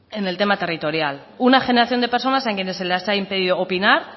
en el tema territorial una generación de personas a quienes se les ha impedido opinar